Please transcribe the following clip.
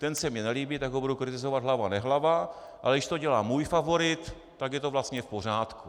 Ten se mi nelíbí, tak ho budu kritizovat hlava nehlava, ale když to dělá můj favorit, tak je to vlastně v pořádku.